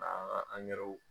Ka an ka ankɛrɛw